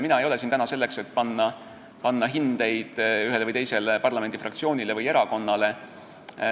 Mina ei ole siin täna selleks, et panna hindeid ühele või teisele parlamendifraktsioonile või erakonnale.